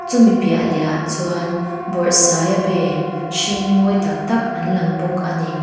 chumi piah leh ah chuan bawrhsaiabe hring mawi taktak an lang bawk ani.